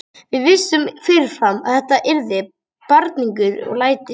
Við vissum fyrirfram að þetta yrði barningur og læti.